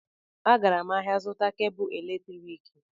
Agara m ahịa ịzụta kebụ eletriki